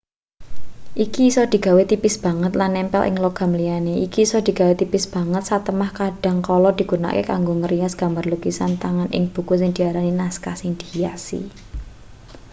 iki isa digawe tipis banget lan nempel ing logam liyane iki isa digawe tipis banget satemah kadhang kala digunakake kanggo ngrias gambar lukisan tangan ing buku sing diarani naskah sing dihiasi